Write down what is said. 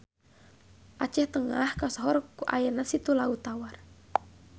Aceh Tengah kasohor ku ayana Situ Laut Tawar.